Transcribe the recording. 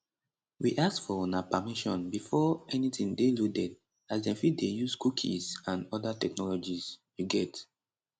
we ask for una permission before anytin dey loaded as dem fit dey use cookies and oda technologies um